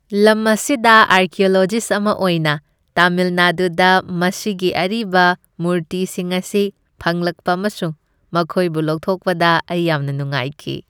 ꯂꯝ ꯑꯁꯤꯗ ꯑꯥꯔꯀꯤꯑꯣꯂꯣꯖꯤꯁ ꯑꯃ ꯑꯣꯏꯅ, ꯇꯥꯃꯤꯜ ꯅꯥꯗꯨꯗ ꯃꯁꯤꯒꯤ ꯑꯔꯤꯕ ꯃꯨꯔꯇꯤꯁꯤꯡ ꯑꯁꯤ ꯐꯪꯂꯛꯄ ꯑꯃꯁꯨꯡ ꯃꯈꯣꯏꯕꯨ ꯂꯧꯊꯣꯛꯄꯗ ꯑꯩ ꯌꯥꯝꯅ ꯅꯨꯡꯉꯥꯏꯈꯤ꯫